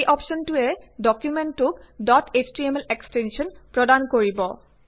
এই অপ্শ্বনটোৱে ডকুমেন্টটোক ডট এছটিএমএল এক্সটেঞ্চন প্ৰদান কৰিব